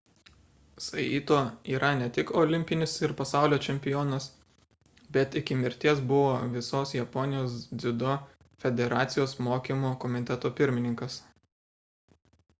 saito yra ne tik olimpinis ir pasaulio čempionas bet iki mirties buvo visos japonijos dziudo federacijos mokymo komiteto pirmininkas